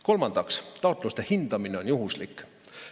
Kolmandaks, taotluste hindamine on juhuslik.